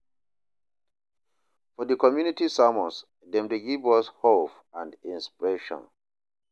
For di community sermons, dem dey give us hope and inspiration.